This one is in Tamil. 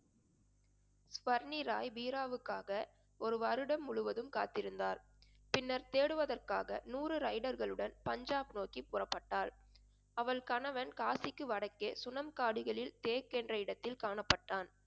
சுவர்னி ராய் பீராவுக்காக ஒரு வருடம் முழுவதும் காத்திருந்தார் பின்னர் தேடுவதற்காக நூறு பஞ்சாப் நோக்கி புறப்பட்டாள். அவள் கணவன் காசிக்கு வடக்கே சுனம் காடுகளில் தேக் என்ற இடத்தில் காணப்பட்டான்